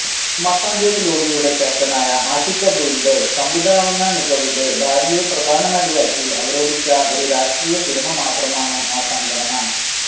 മട്ടാഞ്ചേരി ലോബിയുടെ ക്യാപ്റ്റനായ ആഷിഖ് അബുവിന്റെ സംവിധാനമികവില് ഭാര്യയെ പ്രധാനനടിയാക്കി അവരോധിച്ച ഒരു രാഷ്ട്രീയസിനിമ മാത്രമാണ് ആ സംഘടന